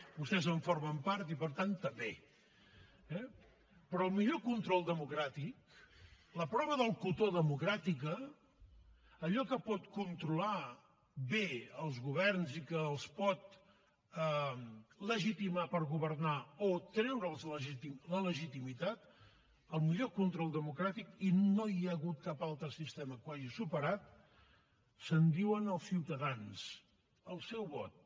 vostès en formen part i per tant també eh però el millor control democràtic la prova del cotó democràtica allò que pot controlar bé els governs i que els pot legitimar per governar o treure’ls la legitimitat el millor control democràtic i no hi ha hagut cap altra sistema que ho haig superat se’n diuen els ciutadans el seu vot